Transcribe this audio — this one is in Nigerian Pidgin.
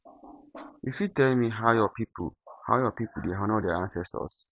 you fit tell me how your people how your people dey honour their ancestors